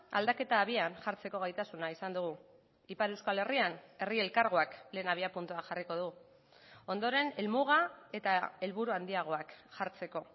aldaketa abian jartzeko gaitasuna izan dugu ipar euskal herrian herri elkargoak lehen abiapuntua jarriko du ondoren helmuga eta helburua handiagoak jartzeko